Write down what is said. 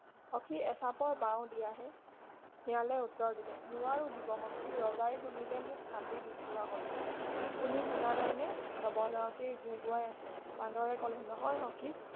সখী এচাপৰ বাওঁ দিয়াহে শিয়ালে উত্তৰ দিলে নোৱাৰোঁ দিব সখী ৰজাই শুনিলে মোক কাটি দুকোৱা কৰিব তুমি শুনা নাইনে নৱজাও তেই গোৰ গোৰাই আছে বান্দৰে কলে নহয় সখী